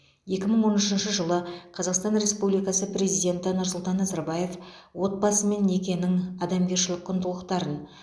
екі мың он үшінші жылы қазақстан республикасы президенті нұрсұлтан назарбаев отбасы мен некенің адамгершілік құндылықтарын